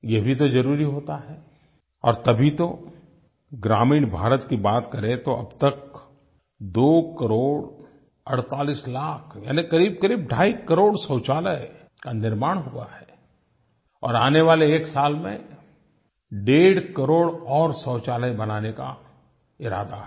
ये भी तो ज़रूरी होता है और तभी तो ग्रामीण भारत की बात करें तो अब तक दो करोड़ अड़तालीस लाख यानि करीबकरीब ढाईकरोड़ शौचालय का निर्माण हुआ है और आने वाले एक साल में डेढ़ करोड़ और शौचालय बनाने का इरादा है